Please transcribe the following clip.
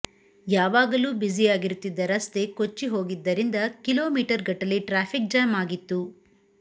ಯಾವಾಗಲೂ ಬ್ಯುಸಿಯಾಗಿರುತ್ತಿದ್ದ ರಸ್ತೆ ಕೊಚ್ಚಿ ಹೋಗಿದ್ದರಿಂದ ಕಿಲೋಮೀಟರ್ಗಟ್ಟಲೆ ಟ್ರಾಫಿಕ್ ಜಾಮ್ ಆಗಿತ್ತು